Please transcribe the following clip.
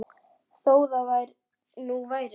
Þó það nú væri!